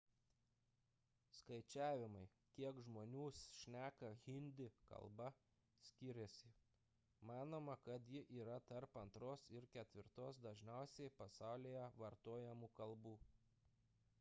skaičiavimai kiek žmonių šneka hindi kalba skiriasi manoma kad ji yra tarp antros ir ketvirtos dažniausiai pasaulyje vartojamų kalbų